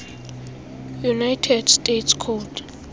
united states code